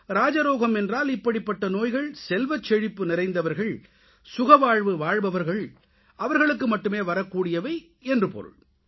ராஜரோகம் என்றால் இப்படிப்பட்ட நோய்கள் செல்வச் செழிப்பு நிறைந்தவர்கள் சுகவாழ்வு வாழ்பவர்களுக்கு மட்டுமே வரக்கூடியவை என்று பொருள்